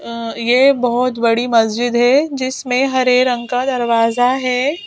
यह बहुत बड़ी मस्जिद है जिसमें हरे रंग का दरवाजा है।